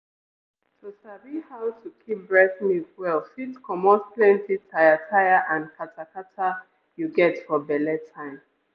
to sabi how to keep breast milk well fit comot plenty tire tire and kata kata you get for belle time.